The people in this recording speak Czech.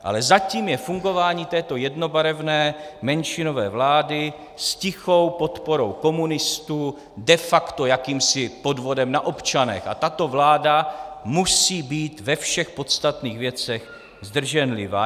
Ale zatím je fungování této jednobarevné menšinové vlády s tichou podporou komunistů de facto jakýmsi podvodem na občanech a tato vláda musí být ve všech podstatných věcech zdrženlivá.